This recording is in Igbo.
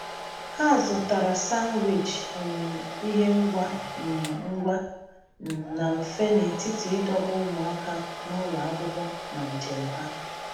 Ha zụtara zụtara um ihe ngwa um ngwa um na mfe n’etiti idobe ụmụaka n’ụlọ akwụkwọ na njem ha.